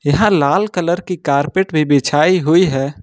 यह लाल कलर की कारपेट भी बिछाई हुई है।